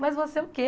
Mais você o quê?